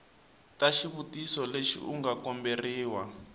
ka xitiviso lexi u komberiwa